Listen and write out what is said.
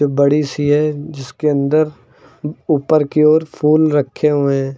बड़ी सी है जिसके अंदर ऊपर की ओर फूल रखे हुए हैं।